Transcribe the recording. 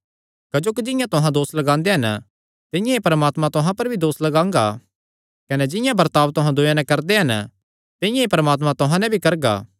क्जोकि जिंआं तुहां दोस लगांदे हन तिंआं ई परमात्मा तुहां पर भी दोस लगांगा कने जिंआं बर्ताब तुहां दूयेयां नैं करदे हन तिंआं ई परमात्मा तुहां नैं भी करगा